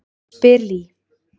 spyr Lee.